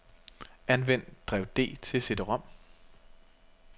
Anvend drev D til cd-rom.